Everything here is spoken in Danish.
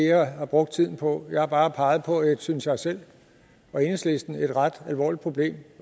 jeg har brugt tiden på jeg har bare peget på et synes jeg selv og enhedslisten ret alvorligt problem